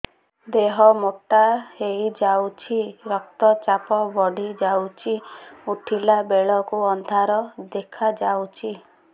ଦେହ ମୋଟା ହେଇଯାଉଛି ରକ୍ତ ଚାପ ବଢ଼ି ଯାଉଛି ଉଠିଲା ବେଳକୁ ଅନ୍ଧାର ଦେଖା ଯାଉଛି